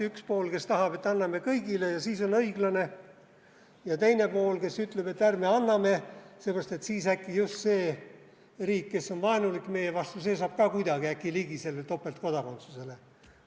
Üks pool, kes tahab, et anname kõigile ja siis on õiglane, ja teine pool, kes ütleb, et ärme anname seepärast, et siis äkki just see riik, kes on vaenulik meie vastu, saab ka kuidagi äkki sellele topeltkodakondsusele ligi.